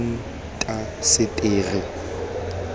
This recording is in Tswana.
diintaseteri